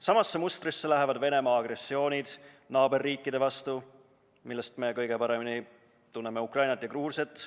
Samasse mustrisse läheb Venemaa agressioon naaberriikide vastu, millest me kõige paremini tunneme Ukrainat ja Gruusiat.